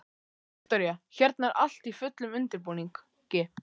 Viktoría: Hérna er allt í fullum undirbúningi?